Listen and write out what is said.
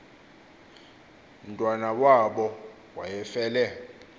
mntwana wabo wayefele